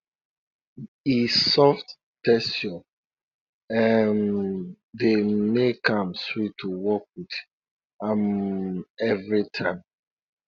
e soft texture um dey make am sweet to work with um every time